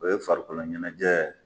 O ye farikolo ɲɛnajɛ